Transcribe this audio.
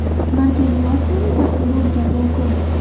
Markaziy Osiyoning taqdiri o‘zgargan kun.